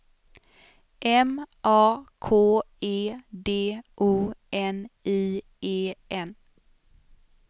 M A K E D O N I E N